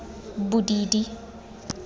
bodidi